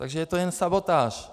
Takže je to jen sabotáž.